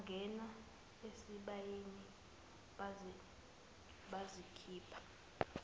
bangena esibayeni bazikhipha